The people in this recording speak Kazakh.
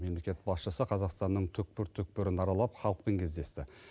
мемлекет басшысы қазақстанның түкпір түкпірін аралап халықпен кездесті